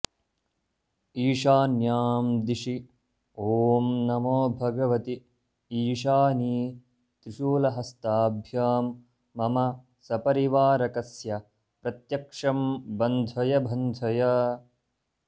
ईशान्यां दिशि ॐ नमो भगवति ईशानि त्रिशूलहस्ताभ्यां मम सपरिवारकस्य प्रत्यक्षं बन्धय बन्धय